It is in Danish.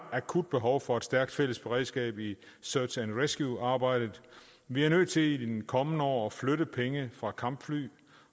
akut behov for et stærkt fælles beredskab i search and rescuearbejdet vi er nødt til i de kommende år at flytte penge fra kampfly